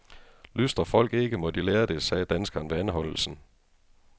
Lystrer folk ikke, må de lære det, sagde danskeren ved anholdelsen.